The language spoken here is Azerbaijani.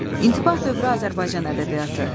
İntibah dövrü Azərbaycan ədəbiyyatı.